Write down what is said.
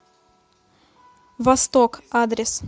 восток адрес